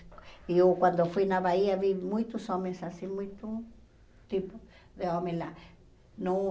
E eu, quando fui na Bahia, vi muitos homens assim, muito tipo de homem lá. Não